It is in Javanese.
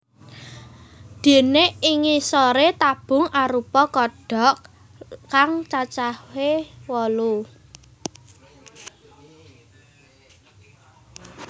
Déné ing ngisoré tabung arupa kodhok kang cacahé wolu